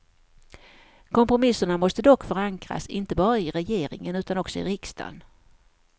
Kompromisserna måste dock förankras inte bara i regeringen utan också i riksdagen.